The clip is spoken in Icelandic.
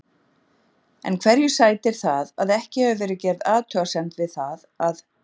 En hverju sætir það að ekki hefur verið gerð athugasemd við það að